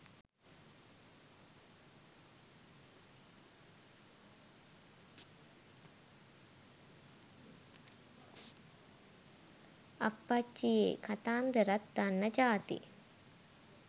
අප්පච්චියේ කතන්දරත් දන්න ජාති